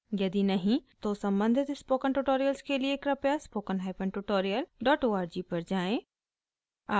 यदि नहीं तो सम्बंधित स्पोकन ट्यूटोरियल्स के लिए कृपया spoken hyphen tutorial dot org पर जाएँ